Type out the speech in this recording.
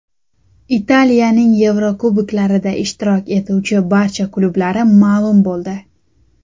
Italiyaning Yevrokuboklarda ishtirok etuvchi barcha klublari ma’lum bo‘ldi.